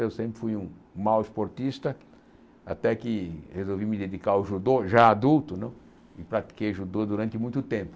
Eu sempre fui um mau esportista, até que resolvi me dedicar ao judô, já adulto né, e pratiquei judô durante muito tempo.